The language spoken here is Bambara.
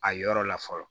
A yɔrɔ la fɔlɔ